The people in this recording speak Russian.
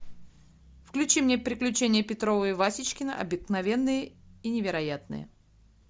включи мне приключения петрова и васечкина обыкновенные и невероятные